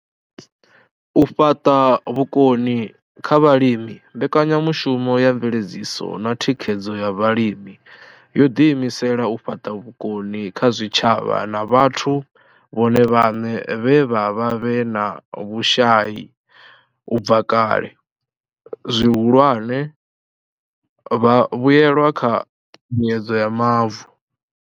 U fhaṱa vhukoni kha vhalimi mbekanyamushumo ya mveledziso na thikhedzo ya Vhalimi yo ḓiimisela u fhaṱa vhukoni kha zwitshavha na vhathu vhone vhaṋe vhe vha vha vhe na vhushai u bva kale, zwihulwane, vhavhuelwa kha mbuedzedzo ya mavu.